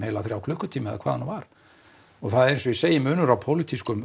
þrjá klukkutíma eða hvað það nú var og það er eins og ég segi munur á pólitískum